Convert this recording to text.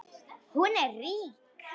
Hún er rík.